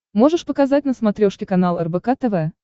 можешь показать на смотрешке канал рбк тв